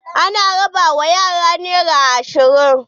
An raba wa yaran nera ashirin.